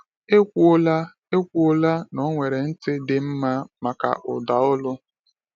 Ekwuola Ekwuola na o nwere ntị dị mma maka ụda olu.